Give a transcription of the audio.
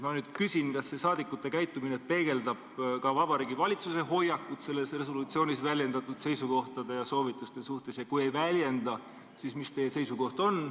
Ma nüüd küsin, kas meie saadikute käitumine peegeldab ka Vabariigi Valitsuse hoiakut selles resolutsioonis väljendatud seisukohtade ja soovituste suhtes, ja kui ei väljenda, siis mis teie seisukoht on.